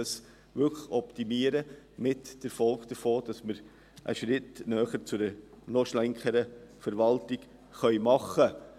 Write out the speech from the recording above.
Man ginge von der Frage aus, wie wir einen Schritt hin zu einer noch schlankeren Verwaltung tun können.